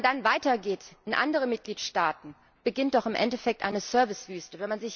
Aber wenn man dann weitergeht in andere Mitgliedstaaten, beginnt doch im Endeffekt eine Servicewüste.